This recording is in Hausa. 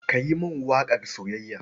Ka yi mini waƙar soyayya.